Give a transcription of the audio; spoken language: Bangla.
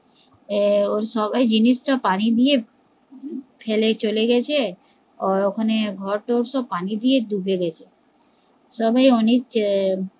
ও সবাই জিনিস তা পানি দিয়ে ফেলে চলে গেছে, ও ওখানে ঘর থর পানি দিয়ে ডুবে গেছে সবাই অনেক আহ